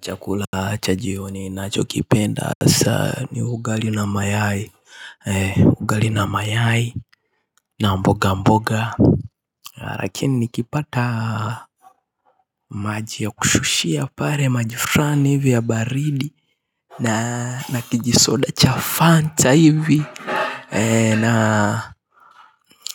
Chakula cha jioni nacho kipenda hasa ni ugali na mayai ugali na mayai na mboga mboga lakini nikipata maji ya kushushia pale maji fulani hivi ya baridi na nakijisoda cha fanta hivi na